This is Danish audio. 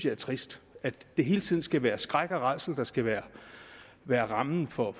er trist at det hele tiden skal være skræk og rædsel der skal være være rammen for